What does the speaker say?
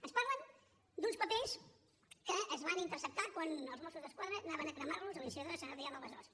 ens parlen d’uns papers que es van interceptar quan els mossos d’esquadra anaven a cremar los a la incineradora de sant adrià de besòs